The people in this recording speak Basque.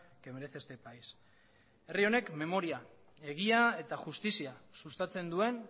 que merece este país herri honek memoria egia eta justizia sustatzen duen